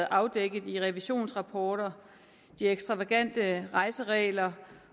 afdækket i revisionsrapporter de ekstravagante rejseregler